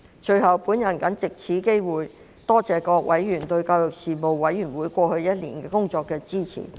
最後，我藉此機會多謝各委員對事務委員會過往1年工作的支持。